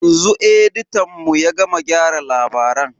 Yanzu editan mu ya gama gyara labaran.